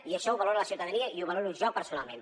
i això ho valora la ciutadania i ho valoro jo personalment